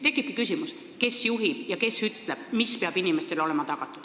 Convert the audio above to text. Tekibki küsimus, kes juhib ja kes ütleb, mis peab inimestele olema tagatud.